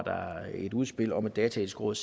et udspil om et dataetisk råd